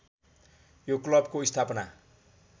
यो क्लबको स्थापना